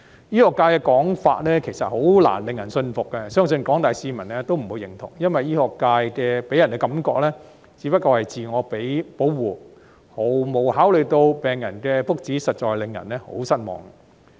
醫學界的說法，其實難以令人信服，相信廣大市民也不會認同，因為醫學界予人的感覺，只不過是自我保護，毫無考慮到病人的福祉，實在令人很失望。